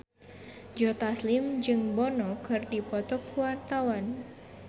Joe Taslim jeung Bono keur dipoto ku wartawan